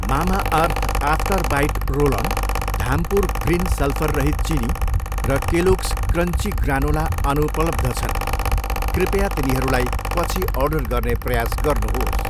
Mamaearth after bite roll on, Dhampur green सल्फररहित चिनी र केलोग्स क्रन्ची ग्रानोला अनुपलब्ध छन्, कृपया तिनीहरूलाई पछि अर्डर गर्ने प्रयास गर्नुहोस्।